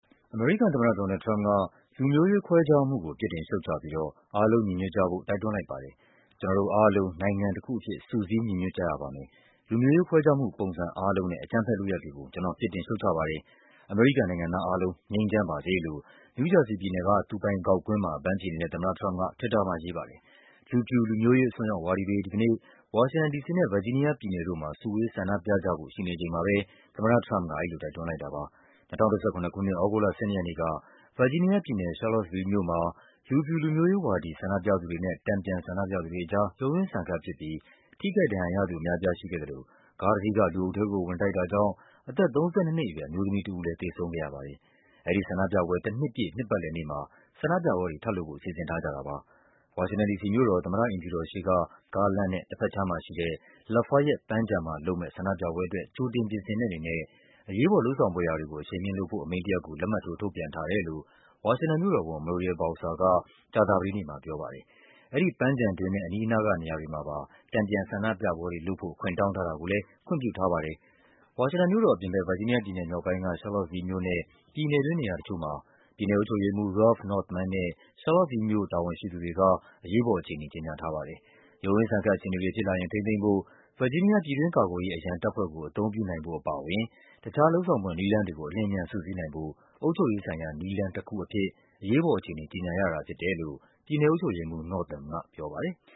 အမေရိကန်သမ္မတ ဒေါ်နယ်လ်ဒ် ထရမ့်ပ်က လူမျိုးရေးခွဲခြားမှုကို ပြစ်တင် ရှုတ်ချပြီးတော့ အားလုံးညီညွတ်ကြဖို့ တိုက်တွန်းလိုက်ပါတယ်။ “ကျနော်တို့အားလုံး နိုင်ငံတခုအဖြစ် စုစည်း ညီညွတ်ကြရပါမယ်၊ လူမျိုးရေးခွဲခြားမှုပုံစံ အားလုံးနဲ့ အကြမ်းဖက်လုပ်ရပ်တွေကို ကျနော် ပြစ်တင်ရှုတ်ချပါတယ်၊ အမေရိကန် နိုင်ငံသား အားလုံး ငြိမ်းချမ်းပါစေ” လို့ နယူးဂျာစီပြည်နယ်က သူပိုင်ဂေါက်ကွင်းမှာ အပန်းဖြေနေတဲ့ သမ္မတထရမ့်ပ်က Twitter မှာရေးပါတယ်။ လူဖြူ လူမျိုးရေးအစွန်းရောက်ဝါဒီတွေ (ဒီကနေ့) တနင်္ဂနွေနေ့ ဝါရှင်တန် ဒီစီနဲ့ ဗာဂျီး နီးယား ပြည်နယ်တို့မှာ စုဝေးဆန္ဒပြကြဖို့ ရှိနေချိန်မှာပဲ သမ္မတထရမ့်ပ်က အဲဒီလို တိုက် တွန်းလိုက်တာပါ။ ၂၀၁၇ ခုနှစ်၊ သြဂုတ်လ ၁၂ ရက်နေ့က ဗာဂျီးနီးယားပြည်နယ်၊ Charlottesville မြို့မှာ လူဖြူ လူမျိုးရေးဝါဒီ ဆန္ဒပြသူတွေနဲ့ တန်ပြန်ဆန္ဒပြသူတွေ အကြား ရုန်းရင်းဆန်ခတ်ဖြစ်ပြီး ထိခိုက် ဒဏ်ရာရသူအများအပြား ရှိခဲ့သလို ကားတစီးက လူအုပ်ထဲကို ဝင်တိုက်တာကြောင့် အသက် ၃၂ နှစ်အရွယ် အမျိုးသမီးတဦး သေဆုံးခဲ့ ရပါတယ်။ အဲဒီဆန္ဒပြပွဲ တနှစ်ပြည့် နှစ်ပတ်လည်နေ့မှာ ဆန္ဒပြပွဲတွေလုပ်ဖို့ စီစဉ်ထားကြ တာပါ။ ဝါရှင်တန် ဒီစီမြို့တော် သမ္မတအိမ်ဖြူတော်ရှေ့က ကားလမ်းနဲ့ တဘက်ခြမ်းမှာရှိတဲ့ Lafayette ပန်းခြံမှာလုပ်မယ့် ဆန္ဒပြပွဲ အတွက် ကြိုတင်ပြင်ဆင်တဲ့အနေနဲ့ အရေးပေါ် လုပ်ဆောင်ဖွယ်ရာတွေကို အရှိန်မြှင့်လုပ်ဆောင်ဖို့ အမိန့်တရပ်ကို လက်မှတ်ထိုး ထုတ်ပြန် ထားတယ်လို့ ဝါရှင်တန်မြို့တော်ဝန် Muriel Bowser က ကြာသပတေးနေ့မှ ပြောပါတယ်။ အဲဒီပန်းခြံတွင်းနဲ့ အနီးနားကနေရာတွေမှာပါ တန်ပြန်ဆန္ဒပြပွဲတွေလုပ်ဖို့ ခွင့်တောင်း ထား တာကိုလည်း ခွင့်ပြုထားပါတယ်။ ဝါရှင်တန်မြို့တော်အပြင်ဘက် ဗာဂျီးနီးယားပြည်နယ်မြောက်ပိုင်းက Charlottesville မြို့နဲ့ ပြည်နယ်တွင်း နေရာတချို့မှာ ပြည်နယ်အုပ်ချုပ်ရေးမှူး Ralph Northam နဲ့ Charlottesville မြို့ တာဝန်ရှိသူတွေက အရေးပေါ်အခြေအနေ ကြေညာထားပါ တယ်။ ရုန်းရင်းဆန်ခတ် အခြေအနေတွေဖြစ်လာရင် ထိန်းသိမ်းဖို့ ဗာဂျီးနီးယား ပြည်တွင်း ကာ ကွယ် ရေး အရန်တပ်ဖွဲ့ကို အသုံးပြုနိုင်ဖို့အပါအဝင် တခြား လုပ်ဆောင်ဖွယ် နည်းလမ်း တွေကို အလျင်အမြန် စုစည်းနိုင်ဖို့ “အုပ်ချုပ်ရေးဆိုင်ရာ နည်းလမ်း” တခုအဖြစ် အရေးပေါ် အခြေအနေ ကြေညာရတာဖြစ်တယ်လို့ ပြည်နယ်အုပ်ချုပ်ရေးမှူး Northam ကပြောပါတယ်။